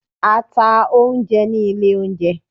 a ta oúnjẹ ní ilé oúnjẹ.